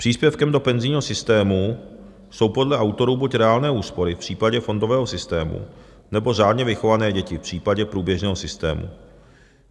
Příspěvkem do penzijního systému jsou podle autorů buď reálné úspory v případě fondového systému, nebo řádně vychované děti v případě průběžného systému.